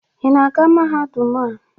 Ị na-aga mahadum a?